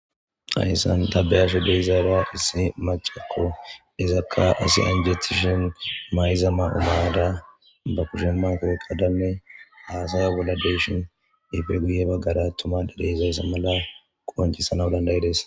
Hayssan ta be'ashe de'izara issi macakko izakka asi injetishen mayzama umaada ba kushemman ko qadanne haasaya bolla deshin efegiye baggara tumadedeizayssa mala qowancisana dandayides.